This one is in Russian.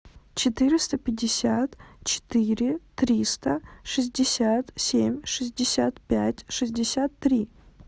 четыреста пятьдесят четыре триста шестьдесят семь шестьдесят пять шестьдесят три